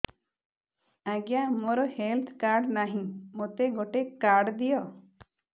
ଆଜ୍ଞା ମୋର health card ନାହିଁ ମୋତେ ଗୋଟେ କାର୍ଡ ଦିଅ